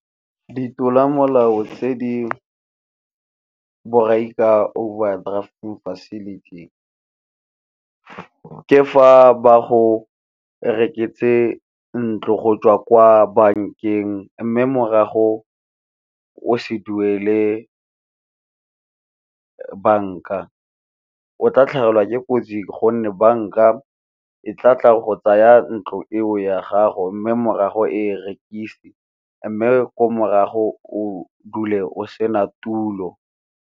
Ka ditlolomolao tse di borai ka overdraft facility ke fa ba go rekisetse ntlo go tswa kwa bankeng, mme morago o se duele banka. O tla tlhagelwa ke kotsi gonne banka e tla tla go tsaya ntlo eo ya gago, mme morago e rekise mme ko morago o dule o sena tulo.